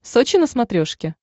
сочи на смотрешке